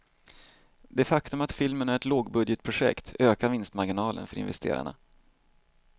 Det faktum att filmen är ett lågbudgetprojekt ökar vinstmarginalen för investerarna.